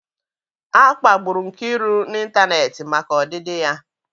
A kpagburu Nkiru n'ịntanetị maka ọdịdị ya.